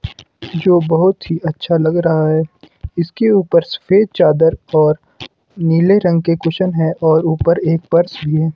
जो बहोत ही अच्छा लग रहा है इसके ऊपर सफेद चादर और नीले रंग के कुशन हैं और ऊपर एक पर्स भी है।